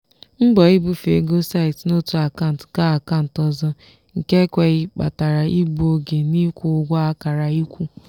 mbọ ibufe ego site n'otu akant ga akant ọzọ nke ekweghị kpatara igbu oge n'ịkwụ ụgwọ akara ịkwụ.